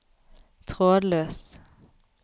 trådløs